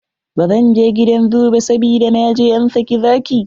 Bzan je gidan zoo ba, sabida na je an sake zaki.